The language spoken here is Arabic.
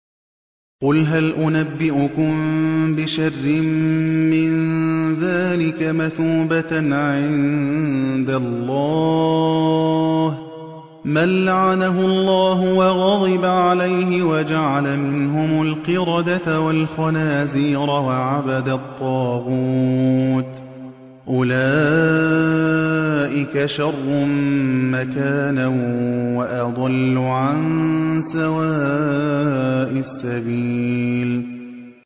قُلْ هَلْ أُنَبِّئُكُم بِشَرٍّ مِّن ذَٰلِكَ مَثُوبَةً عِندَ اللَّهِ ۚ مَن لَّعَنَهُ اللَّهُ وَغَضِبَ عَلَيْهِ وَجَعَلَ مِنْهُمُ الْقِرَدَةَ وَالْخَنَازِيرَ وَعَبَدَ الطَّاغُوتَ ۚ أُولَٰئِكَ شَرٌّ مَّكَانًا وَأَضَلُّ عَن سَوَاءِ السَّبِيلِ